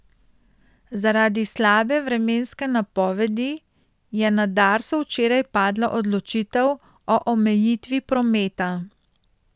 Zaradi slabe vremenske napovedi, je na Darsu včeraj padla odločitev o omejitvi prometa.